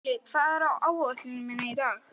Polly, hvað er á áætluninni minni í dag?